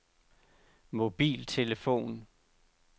mobiltelefon